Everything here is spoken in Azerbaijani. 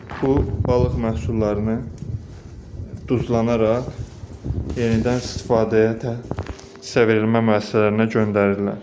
Bu balıq məhsullarını duzlanaraq yenidən istifadəyə, hissə verilmə müəssisələrinə göndərirlər.